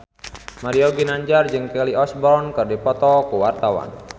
Mario Ginanjar jeung Kelly Osbourne keur dipoto ku wartawan